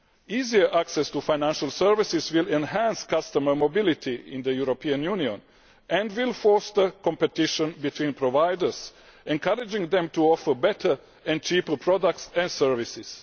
Easier access to financial services will enhance customer mobility in the European Union and will foster competition between providers, encouraging them to offer better and cheaper products and services.